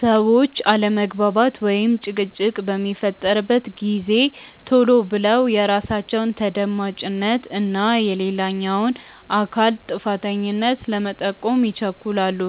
ሰዎች አለመግባባት ወይም ጭቅጭቅ በሚፈጠርበት ጊዜ ቶሎ ብለው የራሳቸውን ተደማጭነት እና የሌላኛውን አካል ጥፋተኛነት ለመጠቆም ይቸኩላሉ።